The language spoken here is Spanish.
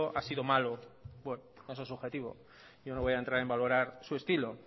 ha sido malo bueno eso es subjetivo yo no voy a entrar en valorar su estilo